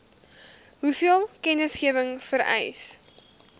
hoeveel kennisgewing vereis